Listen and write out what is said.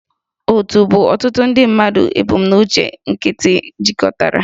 Òtù bụ ọtụtụ ndị mmadụ ebumnuche nkịtị jikọtara